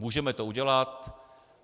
Můžeme to udělat.